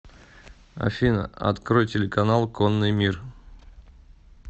афина открой телеканал конный мир